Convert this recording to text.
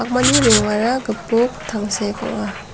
mani rongara gipok tangsek ong·a.